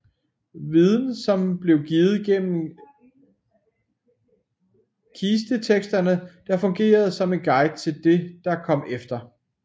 Viden som blev givet gennem kisteteksterne der fungerede som en guide til det der kom efter